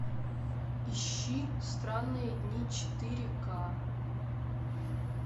ищи странные дни четыре ка